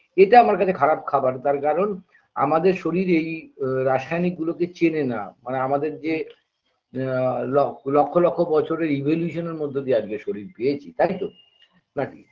এটা আমার কাছে খারাপ খাবার তার কারণ আমাদের শরীর এই রাসায়নিক গুলোকে চেনে না মানে আমাদের যে আ লক লক্ষ লক্ষ বছরের evolution -এর মধ্য দিয়ে আজকে শরীর পেয়েছি তাইতো নাকি